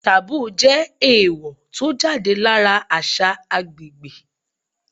Taboo jẹ́ èèwò tó jáde lára àṣà agbègbè.